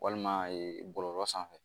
Walima bɔlɔlɔ sanfɛ